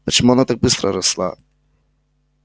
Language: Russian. почему она так быстро росла